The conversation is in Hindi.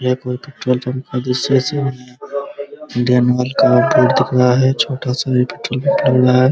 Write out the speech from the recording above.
ये कोई पेट्रोल पंप का दृश्य है इसमें का बोर्ड दिख रहा है छोटा सा है ।